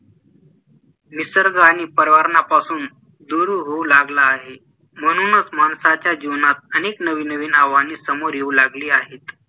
निसर्ग आणि पर्यावर्णापासून दूर होऊ लागला आहे म्हणूनच माणसाच्या जीवनात अनेक नवीन नवीन आव्हाने समोर येऊ लागले आहेत